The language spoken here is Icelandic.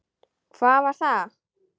Hvað var það?